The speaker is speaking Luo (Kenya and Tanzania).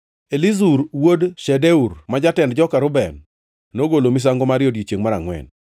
Elizur wuod Shedeur, ma jatend joka Reuben nokelo misango mare e odiechiengʼ mar angʼwen.